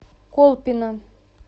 колпино